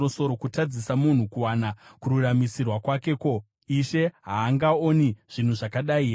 kutadzisa munhu kuwana kururamisirwa kwake ko, Ishe haangaoni zvinhu zvakadai here?